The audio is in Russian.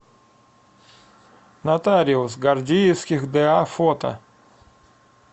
нотариус гордиевских да фото